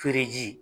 Feere ji